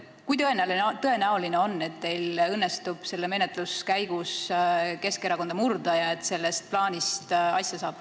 Kui tõenäoline on, et teil õnnestub selle eelnõu menetluse käigus Keskerakonda murda ja sellest plaanist saab asja?